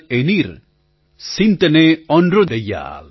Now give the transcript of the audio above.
एनिर्सिन्दनैओंद्दुडैयाळ એનિલસિંધનાઈઓન્દ્રુદયાલ